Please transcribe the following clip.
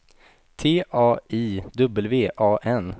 T A I W A N